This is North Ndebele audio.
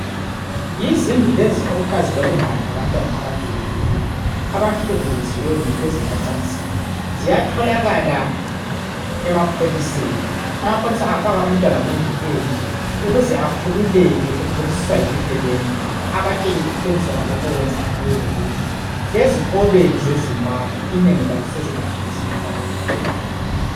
Yizindlu lezi okuthiwa zilobungane labantwana abadubekileyo, abahlukuluziweyo kwezemacansini. Ziyatholakala emapholiseni. Amapholisa afaka umntwana kundlu enje, ukuze akhululeke, ekholisiswa yibuhle bendlu. Abatshele iqiniso ngalokhu okwenzakeleyo kuye. Lezikolo zeZimbabwe, inengi lazo, sezilazo izindlu zaloluhlobo.